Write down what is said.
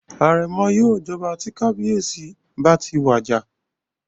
Àrẹ̀mọ yóò jọba tí kábíyèsí bá ti wà àjà